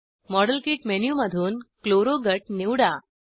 model kit मेनूमधून chloro गट निवडा